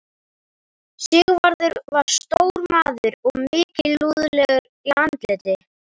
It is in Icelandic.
Sigvarður var stór maður og mikilúðlegur í andliti.